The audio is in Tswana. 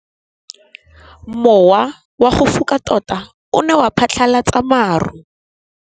Mowa o wa go foka tota o ne wa phatlalatsa maru.